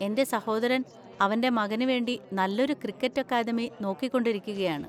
എൻ്റെ സഹോദരൻ അവൻ്റെ മകന് വേണ്ടി നല്ലൊരു ക്രിക്കറ്റ് അക്കാദമി നോക്കിക്കൊണ്ടിരിക്കുകയാണ്.